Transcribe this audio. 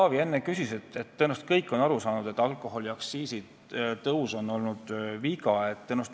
Tõenäoliselt on kõik, mitte ainult Jevgeni Ossinovski, aru saanud, et alkoholiaktsiisi tõus on viga olnud.